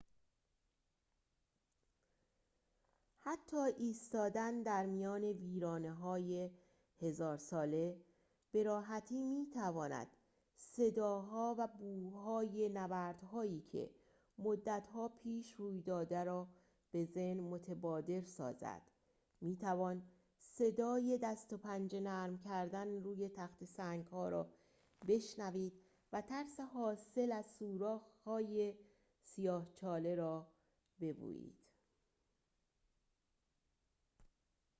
حتی ایستادن در میان ویرانه‌های هزار ساله به‌راحتی می‌تواند صداها و بوهای نبردهایی که مدتها پیش روی داده را به ذهن متبادر سازد می‌توان صدای دست و پنجه نرم کردن روی تخته سنگ‌ها را بشنوید و ترس حاصل از سوراخ‌های سیاه چاله را بویید